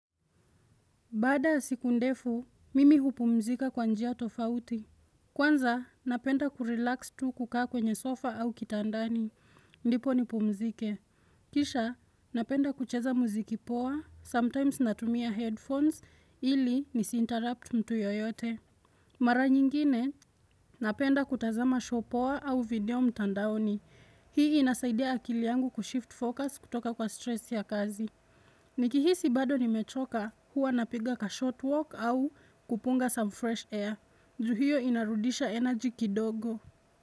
Baada siku ndefu, mimi hupumzika kwa njia tofauti. Kwanza, napenda kurelax tu kukaa kwenye sofa au kitandani. Ndipo nipumzike. Kisha, napenda kucheza muziki poa, sometimes natumia headphones ili nisi-interrupt mtu yoyote. Mara nyingine, napenda kutazama show poa au video mtandaoni. Hii inasaidia akili yangu kushift focus kutoka kwa stress ya kazi. Ni kihisi bado ni mechoka huwa napiga ka short walk au kupunga some fresh air Ju hio inarudisha energy kidogo.